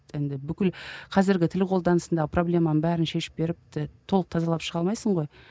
енді бүкіл қазіргі тіл қолданысында проблеманы бәрін шешіп беріп толық тазалап шыға алмайсың ғой